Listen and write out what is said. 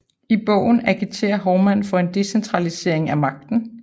I bogen agiterede Hovmand for en decentralisering af magten